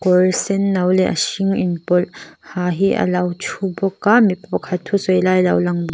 senno leh a hring inpawlh ha hi alo thubawk a mipa pakhat thusawi lai alo langbawk--